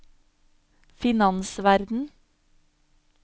finansverden